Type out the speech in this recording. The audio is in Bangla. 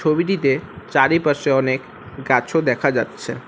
ছবিটিতে চারিপাশে অনেক গাছও দেখা যাচ্ছে।